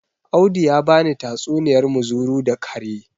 Audi ya bani tatsuniyar muzuru da kare